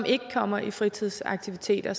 ikke kommer i fritidsaktiviteter